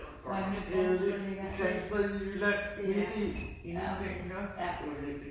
Hvor er det nu Grindsted ligger? Er det ikke det ja, ja okay ja